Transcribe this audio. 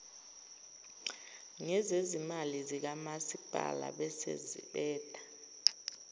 ngezezimali zikamasipalabese beba